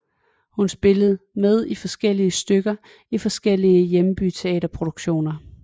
Hun spillede med i forskellige stykker i forskellige hjembyteaterproduktioner